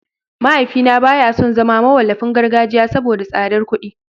Mahaifina baya son zama mawallafin gargajiya saboda tsadar kuɗi